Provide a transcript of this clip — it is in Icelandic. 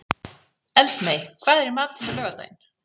Eldmey, hvað er í matinn á laugardaginn?